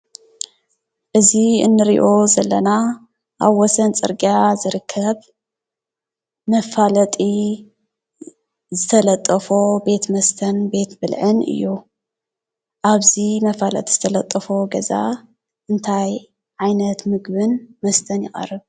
እዚ ንሪኦ ዘለና ኣብ ወሰን ፅርግያ ዝርከብ መፋለጢ ዝተለጠፎ ቤት መስተን ቤት ብልዕን እዩ። ኣብዚ መፋለጢ ዝተለጠፎ ገዛ እንታይ ዓይነት ምግብን መስተን ይቀርብ ?